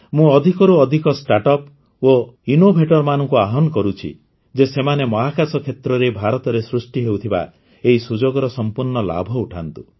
ମୁଁ ଅଧିକରୁ ଅଧିକ ଷ୍ଟାର୍ଟଅପ୍ ଓ ଇନ୍ନୋଭେଟର୍ମାନଙ୍କୁ ଆହ୍ୱାନ କରୁଛି ଯେ ସେମାନେ ମହାକାଶ କ୍ଷେତ୍ରରେ ଭାରତରେ ସୃଷ୍ଟି ହେଉଥିବା ଏହି ସୁଯୋଗର ସମ୍ପୂର୍ଣ୍ଣ ଲାଭ ଉଠାନ୍ତୁ